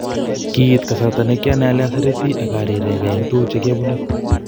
Kiit kasarta ne kianai ole asereti ak arirenge en tuguk che kiobune.